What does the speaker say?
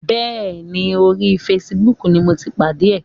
Bẹ́ẹ̀ni, orí fesibúùkù ni mo ti pàdé ẹ̀.